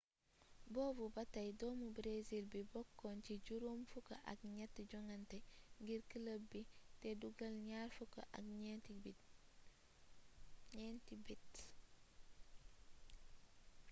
boobu batay doomu breesil bi bokkna ci juroom fukk ak gnett jongante ngir club bi té dugeel gnar fukk ak gnenti bit